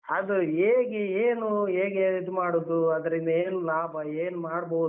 ಅದು ಹೇಗೆ ಏನು ಹೇಗೆ ಇದು ಮಾಡುದು ಅದ್ರಿಂದ ಏನ್ ಲಾಭ ಏನ್ ಮಾಡ್ಬೋದು?